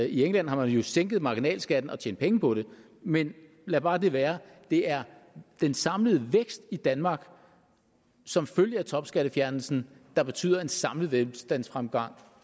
i england har man jo sænket marginalskatten og tjent penge på det men lad bare det være det er den samlede vækst i danmark som følge af topskattefjernelsen der betyder en samlet velstandsfremgang